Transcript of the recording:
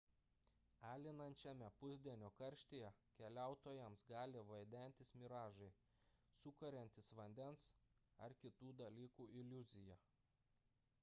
alinančiame pusdienio karštyje keliautojams gali vaidentis miražai sukuriantys vandens ar kitų dalykų iliuziją